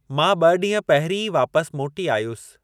मां ॿ ॾींहं पहरीं ई वापसि मोटी आयुसि।